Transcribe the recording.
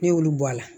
Ne y'olu bɔ a la